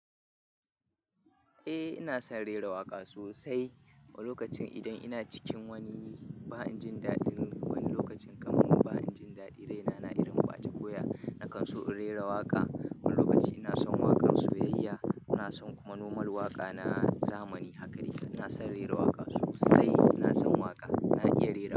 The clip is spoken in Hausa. Eh ina son rera waƙa sosai. Wani lokacin idan ina cikin wani ba in jin daɗin, wani lokacin kamar mu ba in jin daɗin raina na irin wata koya na kan so in rera waƙa. Wani lokacin ina son waƙan soyayya, ina son kuma noman waƙa na zamani. Hakane ina son rera waƙa sosai. Ina son waƙa. Na iya rera waƙa.